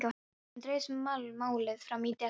Enn dregst málið fram í desember.